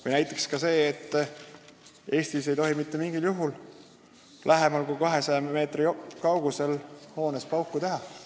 Või näiteks see, et Eestis ei tohi mitte mingil juhul lähemal kui 200 meetri kaugusel hoonest pauku teha.